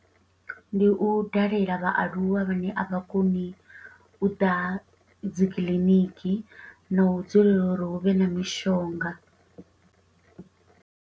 Ndi u dalela vhaaluwa vhane a vha koni u ḓa dzi kiḽiniki, na u dzulela uri hu vhe na mishonga.